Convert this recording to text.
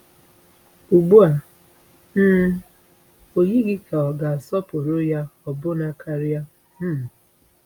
Ugbu a um o yighị ka ọ ga-asọpụrụ ya ọbụna karịa.” um